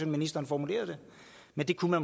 ministeren formulerede det men det kunne